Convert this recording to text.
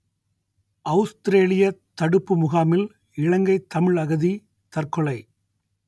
அவுஸ்திரேலியத் தடுப்பு முகாமில் இலங்கைத் தமிழ் அகதி தற்கொலை